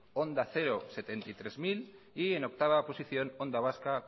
onda cero setenta y tres mil y en octava posición onda vasca